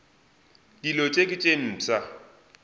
dilo tše ke tše mpsha